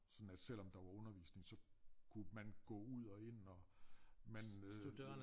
Sådan at selvom der var undervisning så kunne man gå ud og ind og man kunne